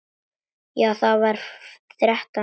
Þá var ég þrettán ára.